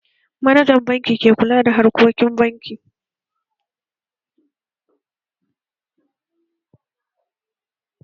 Manajan banki ke kula da harkokin banki